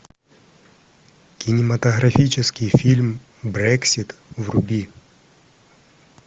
кинематографический фильм брексит вруби